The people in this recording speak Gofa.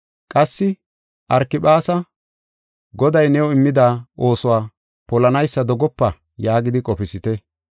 Qassi Arkiphaasa, “Goday new immida oosuwa polanaysa dogopa” yaagidi qofisite.